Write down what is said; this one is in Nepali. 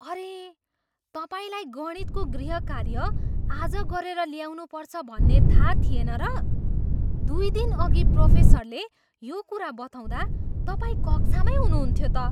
अरे! तपाईँलाई गणितको गृहकार्य आज गरेर ल्याउनुपर्छ भन्ने थाहा थिएन र? दुई दिनअघि प्रोफेसरले यो कुरा बताउँदा तपाईँ कक्षामै हुनुहुन्थ्यो त।